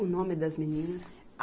O nome das meninas?